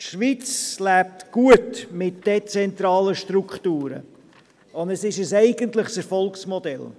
Die Schweiz lebt gut mit ihren dezentralen Strukturen und ist ein eigentliches Erfolgsmodell.